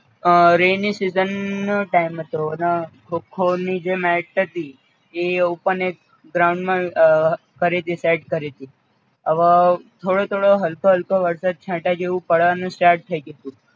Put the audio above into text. અ rainy season નો time હતો અન ખો ખો ની જે match હતી એ ઓપન એક ગ્રાઉંડ માં કરી તી સેટ કરીતી, હવ થોડો થોડો હલકો હલકો વરસાદ છાંટા જેવુ પડે અને સ્ટાર્ટ થઈ ગયું તું